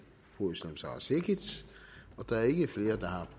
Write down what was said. fru özlem sara cekic da der ikke er flere der har